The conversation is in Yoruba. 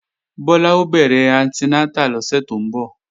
Bọ́lá ó bẹ̀rẹ̀ anti nátà lọ́sẹ̀ tó ń bọ̀